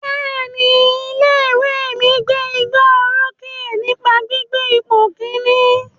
Bẹ́ẹ̀ni, ilé ìwé mi gbé igbá orókè nípa gbígbé ipò Kínní.